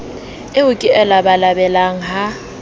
eo ke e labalabelang ha